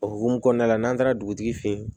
O hokumu kɔnɔna la n'an taara dugutigi fɛ yen